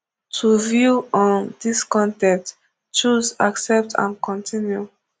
to view um dis con ten t choose accept and continue